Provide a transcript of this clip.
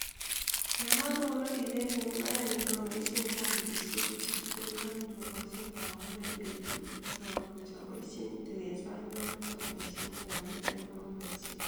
Yan akonori bek en imbarenyu aboishen tangishek chekioldoi en tukoshek akonoren bek chuk ak amuchi aboishen ak kaker yamoboishen